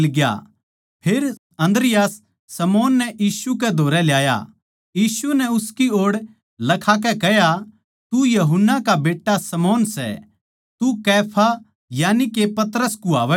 फेर अन्द्रियास शमौन नै यीशु कै धोरै ल्याया यीशु नै उसकी ओड़ लखाकै कह्या तू यूहन्ना का बेट्टा शमौन सैः तू कैफा यानिके पतरस कुआवैगा